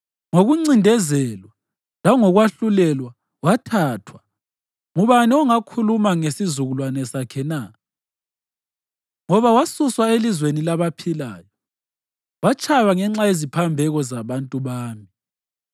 Ngokuncindezelwa langokwahlulela wathathwa. Ngubani ongakhuluma ngesizukulwane sakhe na? Ngoba wasuswa elizweni labaphilayo; watshaywa ngenxa yeziphambeko zabantu bami.